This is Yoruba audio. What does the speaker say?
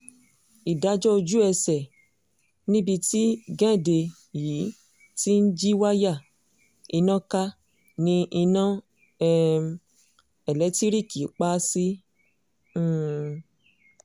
ìdájọ́ ojú-ẹsẹ̀ níbi tí géńdé yìí ti ń jí wáyà iná ká ní iná um elétiríìkì pa á sí um